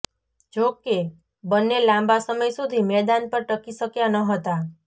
જો કે બંને લાંબા સમય સુધી મેદાન પર ટકી શક્યા ન હતા